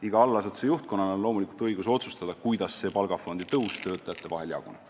Iga allasutuse juhtkonnal on loomulikult õigus otsustada, kuidas see palgafondi kasv töötajate vahel jagada.